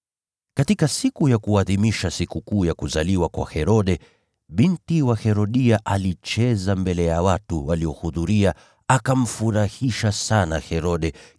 Katika siku ya kuadhimisha sikukuu ya kuzaliwa kwa Herode, binti wa Herodia alicheza mbele ya watu waliohudhuria, akamfurahisha sana Herode,